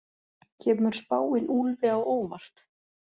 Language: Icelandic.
Kemur spáin Úlfi á óvart?